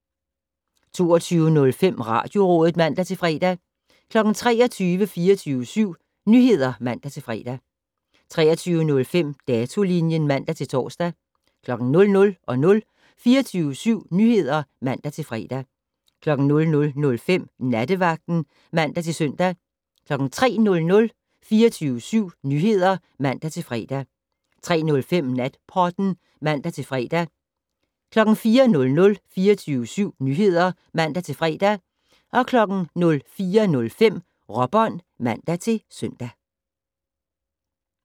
22:05: Radiorådet (man-fre) 23:00: 24syv Nyheder (man-fre) 23:05: Datolinjen (man-tor) 00:00: 24syv Nyheder (man-fre) 00:05: Nattevagten (man-søn) 03:00: 24syv Nyheder (man-fre) 03:05: Natpodden (man-fre) 04:00: 24syv Nyheder (man-fre) 04:05: Råbånd (man-søn)